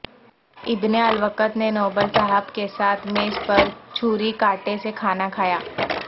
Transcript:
ابن الوقت نے نوبل صاحب کے ساتھ میز پر چھری کانٹے سے کھانا کھایا